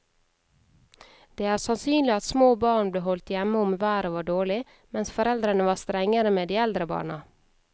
Det er sannsynlig at små barn ble holdt hjemme om været var dårlig, mens foreldrene var strengere med de eldre barna.